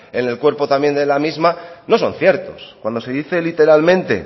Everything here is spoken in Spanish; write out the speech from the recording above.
en el cuerpo también de la misma no son ciertos cuando se dice literalmente